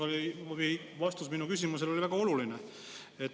Noh, teie vastus minu küsimusele oli väga oluline.